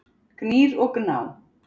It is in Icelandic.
Gnýr og Gná.